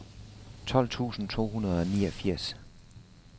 tolv tusind to hundrede og niogfirs